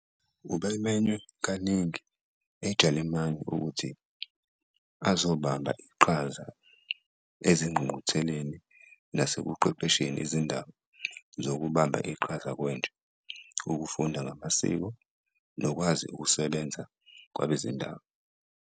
Ubemenywe kaningi eJalimane ukuthi azobamba iqhaza ezingqungqutheleni nasekuqeqesheni izindaba zokubamba iqhaza kwentsha, ukufunda ngamasiko nokwazi ukusebenza kwabezindaba.